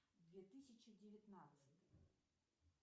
две тысячи девятнадцать